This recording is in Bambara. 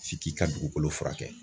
F'i k'i ka dugukolo furakɛ.